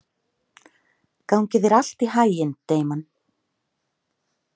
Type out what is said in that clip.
Gangi þér allt í haginn, Damon.